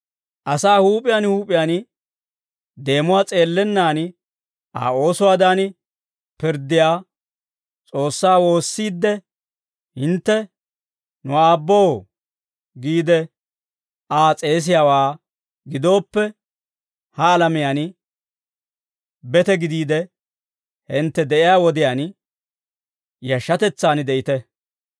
Asaa huup'iyaan huup'iyaan deemuwaa s'eellennan Aa oosuwaadan pirddiyaa S'oossaa woossiidde hintte, «Nu Aabboo» giide Aa s'eesiyaawaa gidooppe, ha alamiyaan bete gidiide hintte de'iyaa wodiyaan yashshatetsaan de'ite.